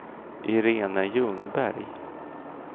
Iréne Ljungberg